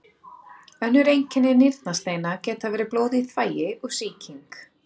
Önnur einkenni nýrnasteina geta verið blóð í þvagi og sýking.